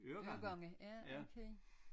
Øregange ja okay